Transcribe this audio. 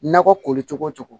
Nakɔ koli cogo cogo